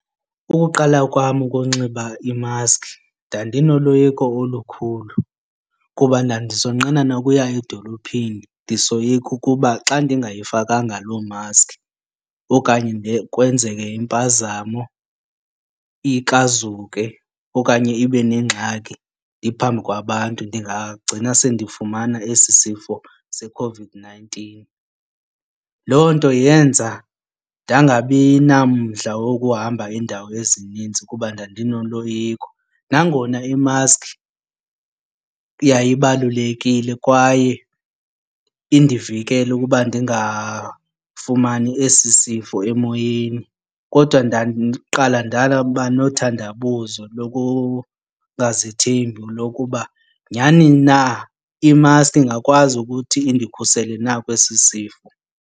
Ukuqala kwam ukunxiba imaski ndandinoloyiko olukhulu kuba ndandisonqena nokuya edolophini. Ndisoyika ukuba xa ndingayifakanga loo maski okanye kwenzeke impazamo ikrazuke okanye ibe nengxaki ndiphambi kwabantu ndingagcina sendifumana esi sifo seCOVID-nineteen. Loo nto yenza ndangabi namdla wokuhamba iindawo ezinintsi kuba ndinoloyiko. Nangona imaski yayibalulekile kwaye indivikela ukuba ndingafumani esi sifo emoyeni kodwa ndaqala ndaba nothandanabuzo lokungazithembi lokuba nyhani na imaski ingakwazi ukuthi indikhusele na kwesi sifo.